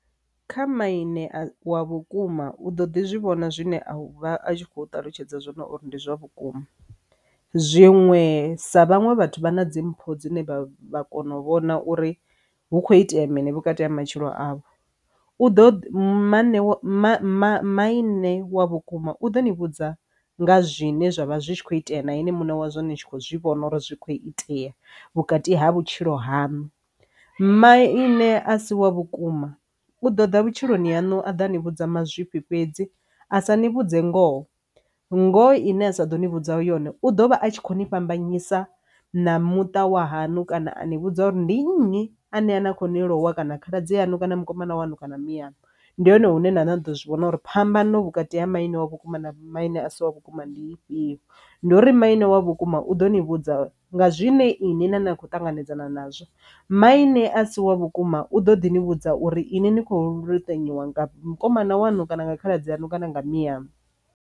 Kha maine wa vhukuma u ḓo ḓi zwivhona zwine a u vha a kho ṱalutshedza zwino uri ndi zwa vhukuma zwiṅwe sa vhaṅwe vhathu vha na dzimpfu dzine vha vha kona u vhona uri hu kho itea mini vhukati ha matshilo avho u ḓo mu maine wa vhukuma u ḓo ni vhudza nga zwine zwavha zwi kho itea na ine munna wa zwone tshi khou zwi vhona uri zwi kho itea vhukati ha vhutshilo hanu. Maine a si wa vhukuma u ḓo ḓa vhutshiloni yaṋu a ḓa ni vhudza mazwifhi fhedzi a sa ni vhudze ngoho ngori ine a sa ḓo ni vhudza uri u ḓovha a tshi kho ni fhambanyisa na muṱa wa hanu kana a ni vhudza uri ndi nnyi ane a kho ni lowa kana khaladzi anga kana mukomana wanu kana muyani ndi hone hune na na ḓo zwi vhona uri phambano vhukati ha maine wa vhukuma na maine a si wa vhukuma ndi ifhio. Ndi uri maine wa vhukuma u ḓo ni vhudza nga zwine ine na ne a khou ṱanganedzana nazwo maine a si wa vhukuma u ḓo ḓi ni vhudza uri ine ni khou litambywa vhukuma na wanu kana nga khaladzi ano kana nga mianu.